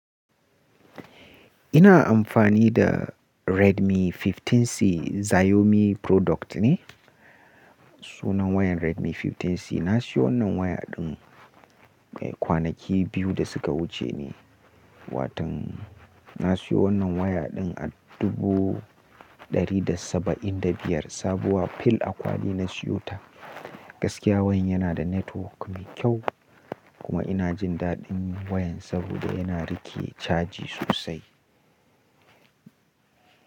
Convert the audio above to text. Ina amfani da Redmi 15C Xiaomi product ne. Sunan wayan Redmi 15C. Na siyo wannan waya ɗin kwanaki biyu da suka wuce ne, watan-- na siyo wannan waya ɗin a dubu ɗari da saba'in da biyar sabuwa fil akwali na siyota. Gaskiya wayan yana da network mai kyau kuma ina jin daɗin wayan saboda yana rike caji sosai.